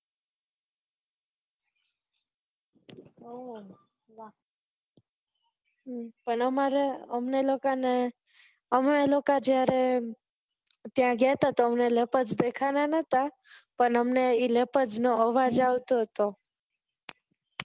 અને મારે અમને લોકો ને અમે લોકો જયારે ત્યાં ગયા હતા અમને leopards દેખાણા નતા પણ હમને એ leopard નો અવાજ આવતો હતો